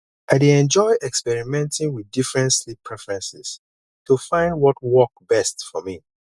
i dey enjoy experimenting with different sleep preferences to find what work best for me